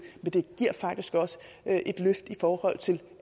men det giver faktisk også et løft i forhold til